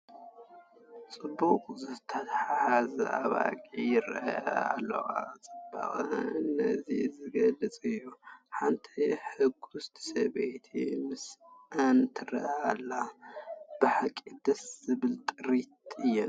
ብፅቡቕ ዝተተሓዛ ኣባጊዕ ይርአያ ኣለዋ፡፡ ፅባቐአን ነዚ ዝገልፅ እዩ፡፡ ሓንቲ ሕጉስቲ ሰበይቲ ምስአን ትርአ ኣላ፡፡ ብሓቂ ደስ ዝብላ ጥሪት እየን፡፡